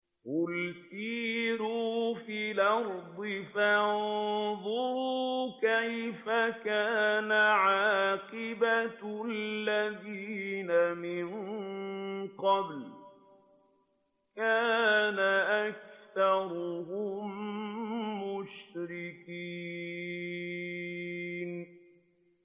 قُلْ سِيرُوا فِي الْأَرْضِ فَانظُرُوا كَيْفَ كَانَ عَاقِبَةُ الَّذِينَ مِن قَبْلُ ۚ كَانَ أَكْثَرُهُم مُّشْرِكِينَ